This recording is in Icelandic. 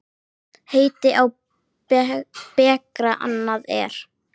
Heiti á bekra annað er.